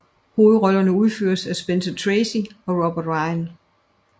Hovedrollerne udføres af Spencer Tracy og Robert Ryan